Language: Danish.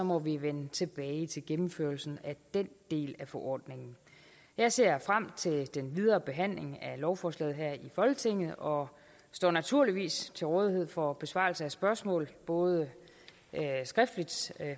må vi vende tilbage til gennemførelsen af den del af forordningen jeg ser frem til den videre behandling af lovforslaget her i folketinget og står naturligvis til rådighed for besvarelse af spørgsmål både skriftligt